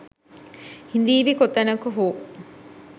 ”හිඳීවි කොතැනක හෝ